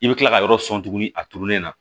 I bɛ kila ka yɔrɔ sɔn tuguni a turulen na